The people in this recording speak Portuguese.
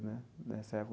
Né nessa